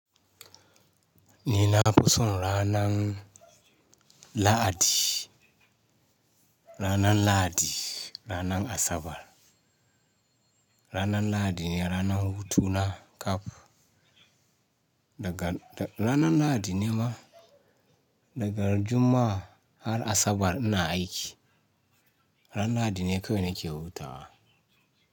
Ni na fi son ranan Lahadi, ranan ranan Asabar. Ranar Lahadi ne ranar hutu na ƙaf. Daga, ranar Lahadi ne ma, daga Juma'a har Asabar ina aiki. Ranan La'adi ne kawai nake hutawa.